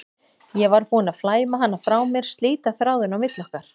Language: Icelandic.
Ég var búin að flæma hana frá mér, slíta þráðinn á milli okkar.